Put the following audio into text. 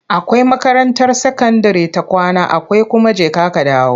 Akwai makarantar sakandire ta kwana akwai kuma jeka-kadawo.